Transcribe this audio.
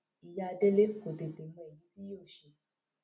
ìyá délé kò tètè mọ èyí tí yóò ṣe